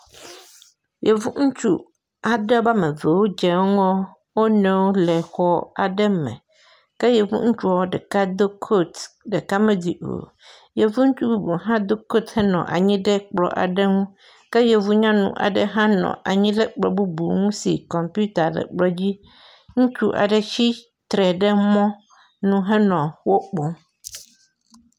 Yevu ŋutsu aɖe be wɔme eve wode ŋgɔ wo nɔewo le xɔ aɖe me. Ke yevu ŋutsua ɖeka do kotu ɖeka medui o. Yevu ŋutsua bubu hã do koyuhenɔ anyi ɖe kplɔ aɖe nu ke yevu nyɔnu aɖe hã nɔ anyi ɖe kplɔ bubu ŋu si kɔmpita le kplɔ di. Ŋutsu aɖe tsitre ɖe mɔnu henɔ wo kpɔm.